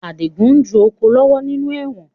Adigun ń ju oko lọ́wọ́ nínú ẹ̀wọ̀n